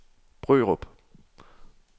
Brørup